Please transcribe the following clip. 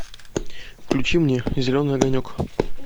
включи мне зеленый огонек